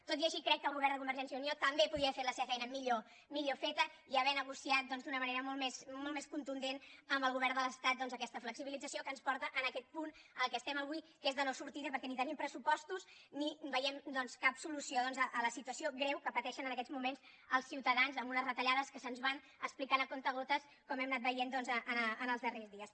tot i així crec que el govern de convergència i unió també podia haver fet la seva feina millor millor feta i haver negociat doncs d’una manera molt més contundent amb el govern de l’estat aquesta flexibilització que ens porta en aquest punt en què estem avui que és de no sortida perquè ni tenim pressupostos ni veiem doncs cap solució a la situació greu que pateixen en aquests moments els ciutadans amb unes retallades que se’ns van explicant amb comptagotes com hem anat veient en els darrers dies